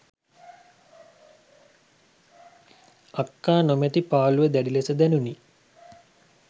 අක්කා නොමැති පාලූව දැඩි ලෙස දැනුනි.